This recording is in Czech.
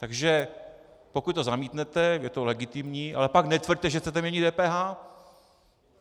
Takže pokud to zamítnete, je to legitimní, ale pak netvrďte, že chcete měnit DPH.